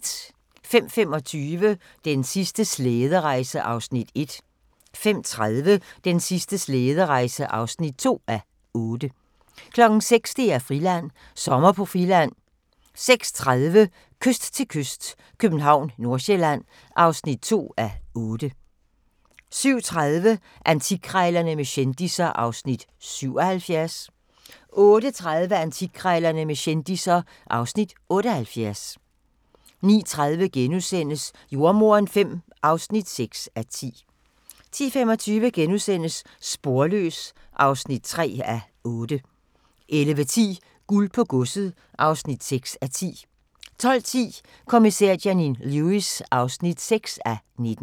05:25: Den sidste slæderejse (1:8) 05:30: Den sidste slæderejse (2:8) 06:00: DR-Friland: Sommer på Friland 06:30: Kyst til kyst - København/Nordsjælland (2:8) 07:30: Antikkrejlerne med kendisser (Afs. 77) 08:30: Antikkrejlerne med kendisser (Afs. 78) 09:30: Jordemoderen V (6:10)* 10:25: Sporløs (3:8)* 11:10: Guld på Godset (6:10) 12:10: Kommissær Janine Lewis (6:19)